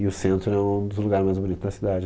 E o centro é um dos lugares mais bonitos da cidade.